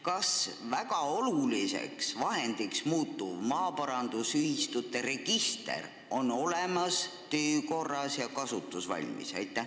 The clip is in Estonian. Kas väga oluliseks vahendiks muutuv maaparandusühistute register on olemas, töökorras ja kasutusvalmis?